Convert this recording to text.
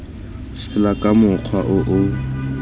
fela ka mokgwa o o